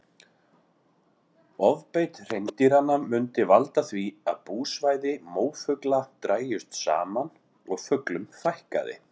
Ofbeit hreindýranna myndi valda því að búsvæði mófugla drægist saman og fuglum fækkaði.